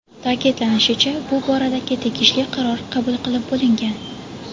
Ta’kidlanishicha, bu boradagi tegishli qaror qabul qilib bo‘lingan.